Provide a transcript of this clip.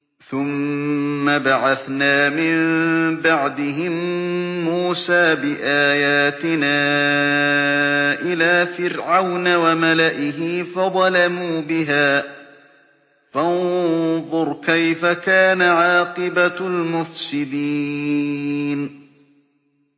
ثُمَّ بَعَثْنَا مِن بَعْدِهِم مُّوسَىٰ بِآيَاتِنَا إِلَىٰ فِرْعَوْنَ وَمَلَئِهِ فَظَلَمُوا بِهَا ۖ فَانظُرْ كَيْفَ كَانَ عَاقِبَةُ الْمُفْسِدِينَ